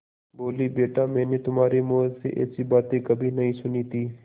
बोलीबेटा मैंने तुम्हारे मुँह से ऐसी बातें कभी नहीं सुनी थीं